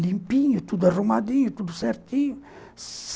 limpinho, tudo arrumadinho, tudo certinho.